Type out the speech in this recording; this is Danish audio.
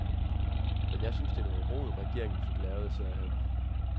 Men jeg synes, det er noget rod, regeringen fik lavet, sagde han.